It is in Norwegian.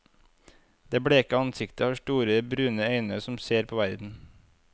Det bleke ansiktet har store, brune øyne som ser på verden.